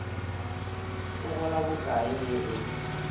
o gola bokae ge e